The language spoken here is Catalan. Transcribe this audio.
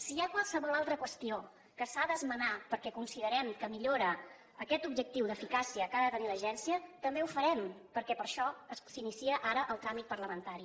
si hi ha qualsevol altra qüestió que s’ha d’esmenar perquè considerem que millora aquest objectiu d’eficàcia que ha de tenir l’agència també ho farem perquè per això s’inicia ara el tràmit parlamentari